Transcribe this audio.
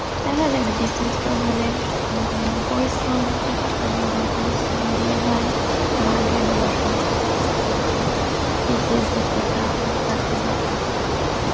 তাই না জানি BCS তো আসলে উম পরিশ্রম ঠিক আছে, মেধা পরিশ্রম দিয়ে হয় ভাগ্যেরও ব্যাপার আছে মনে করি BCS এ টেকা অনেক ভাগ্যের ব্যাপার